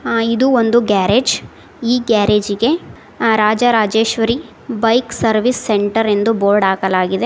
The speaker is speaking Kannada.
ಅ ಇದು ಒಂದು ಗ್ಯಾರೇಜ್ ಈ ಗ್ಯಾರೇಜಿಗೆ ಅ ರಾಜರಾಜೇಶ್ವರಿ ಬೈಕ್ ಸರ್ವಿಸ್ ಸೆಂಟರ್ ಎಂದು ಬೋರ್ಡ್ ಹಾಕಲಾಗಿದೆ.